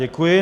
Děkuji.